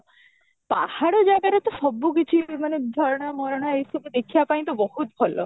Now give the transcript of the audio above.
ପାହାଡ଼ ଜାଗାରେ ତ ସବୁ କିଛି ମାନେ ଝରଣା ମରଣା ଏଇ ସବୁ ଦେଖିବା ପାଇଁ ତ ବହୁତ ଭଲ